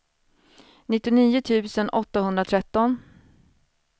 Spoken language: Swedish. nittionio tusen åttahundratretton